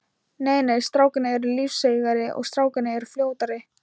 Nei nei, strákarnir eru lífseigari og strákarnir eru fljótari.